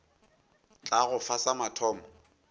tla go fa sa mathomo